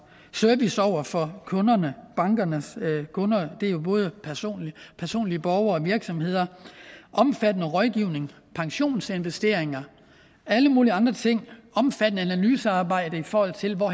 service over for bankernes kunder og det er jo både borgere og virksomheder omfattende rådgivning pensionsinvesteringer alle mulige andre ting omfattende analysearbejde i forhold til hvor